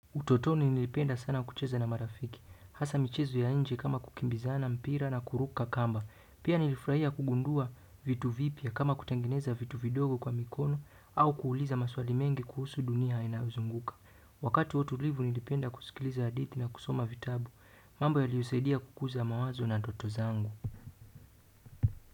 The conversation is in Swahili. Utotoni nilipenda sana kucheza na marafiki, hasa michezo ya nje kama kukimbizana, mpira na kuruka kamba, pia nilifurahia kugundua vitu vipya kama kutengeneza vitu vidogo kwa mikono au kuuliza maswali mengi kuhusu dunia inayozunguka. Wakati wa utulivu nilipenda kusikiliza hadithi na kusoma vitabu mambo yaliyosaidia kukuza mawazo na ndoto zangu.